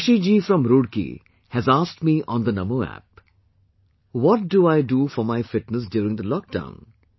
Shashi ji from Roorke has asked me on the Namo App what do I do for my fitness during the lock down